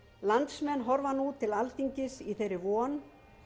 landsmenn horfa nú til alþingis í þeirri von